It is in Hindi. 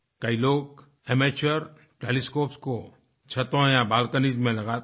कई लोग एमेच्योर टेलीस्कोप्स को छतों या बाल्कोनीज में लगाते हैं